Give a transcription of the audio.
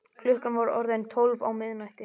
Klukkan var orðin tólf á miðnætti.